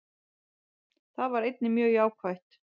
Það var einnig mjög jákvætt